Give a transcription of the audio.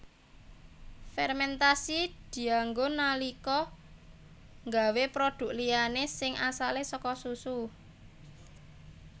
Fermentasi dianggo nalika nggawé produk liyané sing asale saka susu